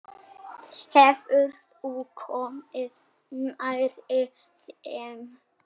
Hefurðu komið nærri þeim?